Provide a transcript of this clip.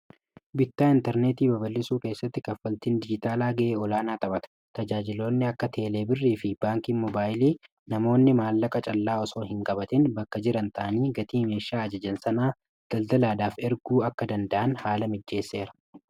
bittaa intarneetii babalisuu keessatti kaffaltiin dijitaalaa ga'ee olaanaa taphata tajaajiloonni akka teelee birrii fi baankiin mobaayilii namoonni maallaqa callaa osoo hin gabatin bakka jiran ta'anii gatii meesshaa ajajan sanaa daldalaadhaaf erguu akka danda'an haala mijjeesseera